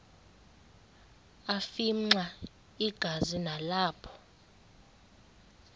afimxa igazi nalapho